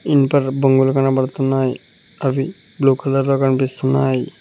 ఇనుపర్ బొంగులు కనబడుతున్నాయి అవి బ్లూ కలర్ లో కనిపిస్తున్నాయి.